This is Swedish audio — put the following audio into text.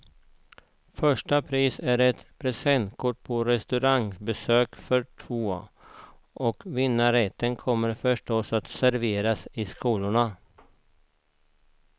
Första pris är ett presentkort på restaurangbesök för två, och vinnarrätten kommer förstås att serveras i skolorna.